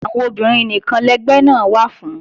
Àwọn obìnrin nìkan lẹgbẹ́ náà wà fún